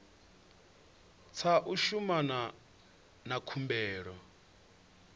tsha u shumana na khumbelo